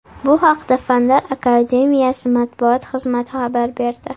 Bu haqda Fanlar Akademiyasi matbuot xizmati xabar berdi .